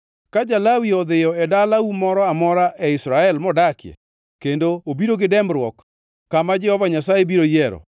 Ka ja-Lawi odhiyo e dalau moro amora e Israel modakie, kendo obiro gi dembruok kama Jehova Nyasaye biro yiero,